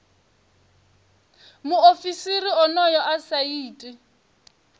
muofisiri onoyo a sa iti